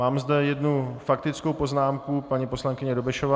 Mám zde jednu faktickou poznámku - paní poslankyně Dobešová.